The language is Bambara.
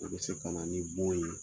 U bɛ se ka na ni bon ye.